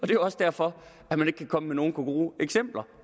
jo også derfor at man ikke kan komme med nogen gode eksempler